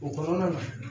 O kɔnɔna na